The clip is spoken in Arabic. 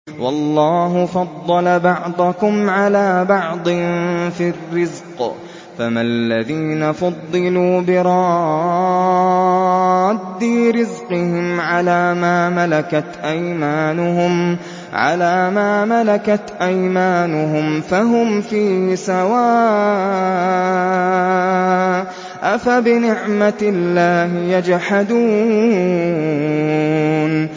وَاللَّهُ فَضَّلَ بَعْضَكُمْ عَلَىٰ بَعْضٍ فِي الرِّزْقِ ۚ فَمَا الَّذِينَ فُضِّلُوا بِرَادِّي رِزْقِهِمْ عَلَىٰ مَا مَلَكَتْ أَيْمَانُهُمْ فَهُمْ فِيهِ سَوَاءٌ ۚ أَفَبِنِعْمَةِ اللَّهِ يَجْحَدُونَ